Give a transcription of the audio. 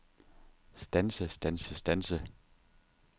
standse standse standse